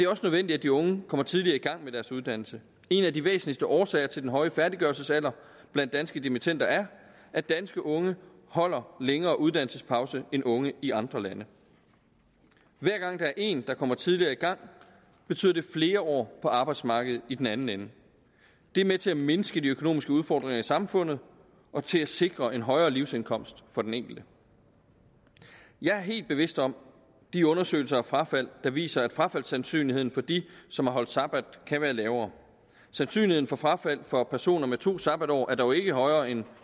også nødvendigt at de unge kommer tidligere i gang med deres uddannelse en af de væsentligste årsager til den høje færdiggørelsesalder blandt danske dimittender er at danske unge holder længere uddannelsespauser end unge i andre lande hver gang én kommer tidligere i gang betyder det flere år på arbejdsmarkedet i den anden ende det er med til at mindske de økonomiske udfordringer i samfundet og til at sikre en højere livsindkomst for den enkelte jeg er helt bevidst om de undersøgelser af frafald der viser at frafaldssandsynligheden for de som har holdt sabbat kan være lavere sandsynligheden for frafald for personer med to sabbatår er dog ikke højere end